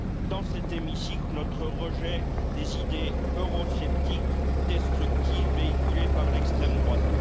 dans cet hémicycle, notre rejet des idées eurosceptiques destructrices véhiculées par l'extrême droite.